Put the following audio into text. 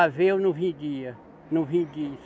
Aveia eu não vendia, não vendi.